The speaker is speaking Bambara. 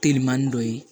Telimani dɔ ye